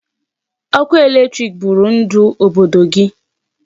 Ọkụ electric bụrụ ndụ obodo gị.